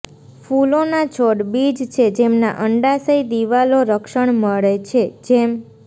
ફૂલોના છોડ બીજ છે જેમના અંડાશય દિવાલો રક્ષણ મળે છે જેમ